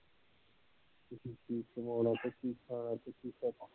ਕੀ ਕਮਾਉਣਾ ਤੇ ਕੀ ਖਾਣਾ ਤੇ ਕੀ